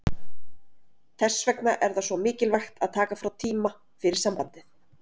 Þess vegna er það svo mikilvægt að taka frá tíma fyrir sambandið.